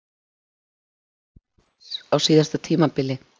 Hvað fór úrskeiðis á síðasta tímabili?